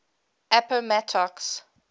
appomattox